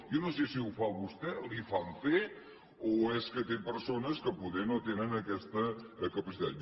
jo no sé si ho fa vostè li ho fan fer o és que té persones que poder no tenen aquesta capacitat